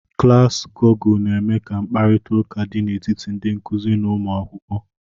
Klaasị Gọgụl na-eme ka mkparịta ụka dị n'etiti ndị nkụzi n'ụmụ akwụkwọ.